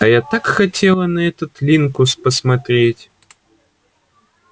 а я так хотела на этот линкус посмотреть